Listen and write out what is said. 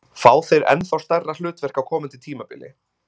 Fá þeir ennþá stærra hlutverk á komandi tímabili?